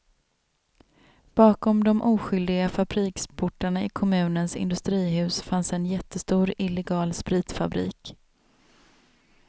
Bakom de oskyldiga fabriksportarna i kommunens industrihus fanns en jättestor illegal spritfabrik.